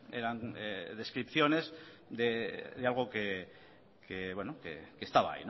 eran descripciones de algo que estaba